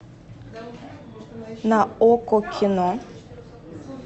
на окко кино